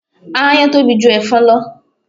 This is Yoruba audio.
Aáyán tóbi ju ẹ̀fọn lọ